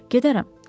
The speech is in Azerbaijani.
Gedərəm.